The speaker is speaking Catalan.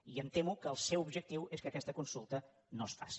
i em temo que el seu objectiu és que aquesta consulta no es faci